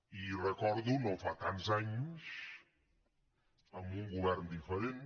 i recordo no fa tants anys amb un govern diferent